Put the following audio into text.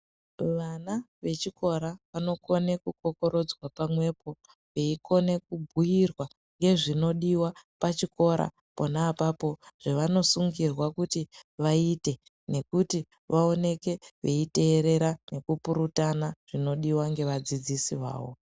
Vana vechikora vanokona kukokorodzwa pamwepo veikone kubhuyirwa ngezvinodiwa pachikora pona apapo zvevanosungurwa kuti vaite nekuti vaoneke veiterera nekupurutana zvinodiwa nevadzidzisi vavo.